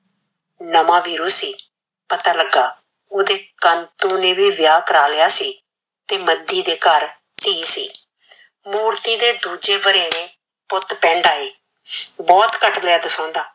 ਨਵਾ ਵੀਰੂ ਸੀ ਪਤਾ ਲਗਾ ਓਹਦੇ ਕਾੰਤੁ ਨੇ ਵੀ ਵਿਆਹ ਕਰਵਾ ਲਿਯਾ ਸੀ ਤੇ ਮੰਦੀ ਦੇ ਘਰ ਤੀ ਸੀ ਮੂਰਤੀ ਦੇ ਦੂਜੇ ਵਰੇਵੇ ਪਿੰਡ ਪੁਤ ਆਏ ਭੂਤ ਘਟ ਮੇਟ ਸਾਨਦਾ